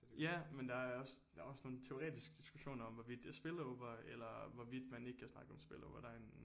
Ja men der er også der er også nogle teoretiske diskussioner om hvorvidt det er spillover eller hvorvidt man ikke kan snakke om spillover og der er en